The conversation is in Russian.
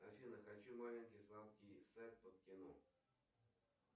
афина хочу маленький сладкий сет под кино